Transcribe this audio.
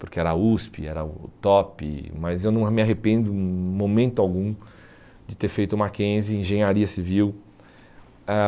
porque era a USP, era o top, mas eu não me ah arrependo em momento algum de ter feito Mackenzie, Engenharia Civil. Ãh